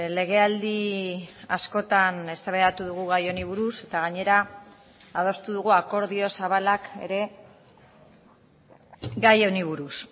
legealdi askotan eztabaidatu dugu gai honi buruz eta gainera adostu dugu akordio zabalak ere gai honi buruz